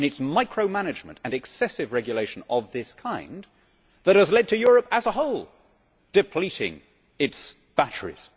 It is micromanagement and excessive regulation of this kind that has led to Europe as a whole depleting its batteries.